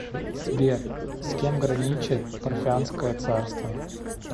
сбер с кем граничит парфянское царство